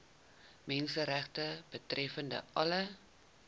menseregte betreffende alle